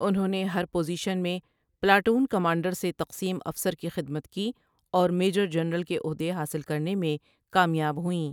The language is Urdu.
انہوں نے ہر پوزیشن میں پلاٹون کمانڈر سے تقسیم افسر کی خدمت کی اور میجر جنرل کے عہدے حاصل کرنے میں کامیاب ہوئیں ۔